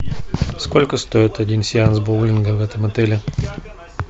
сколько стоит один сеанс боулинга в этом отеле